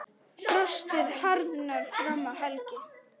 Frostið harðnar fram að helgi.